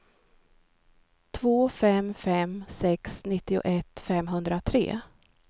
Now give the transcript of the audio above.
två fem fem sex nittioett femhundratre